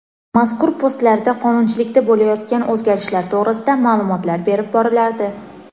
Mazkur postlarda qonunchilikda bo‘layotgan o‘zgarishlar to‘g‘risida ma’lumotlar berib borilardi.